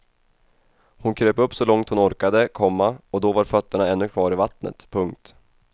Hon kröp upp så långt hon orkade, komma och då var fötterna ännu kvar i vattnet. punkt